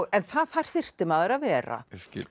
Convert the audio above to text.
en það þyrfti maður að vera